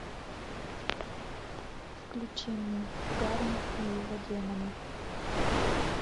включи мне гарри и его демоны